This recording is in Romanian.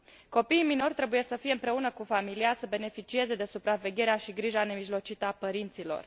Copiii minori trebuie să fie împreună cu familia, să beneficieze de supravegherea și grija nemijlocită a părinților.